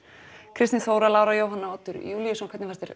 Kristín Þóra Lára Jóhanna Oddur Júlíusson hvernig fannst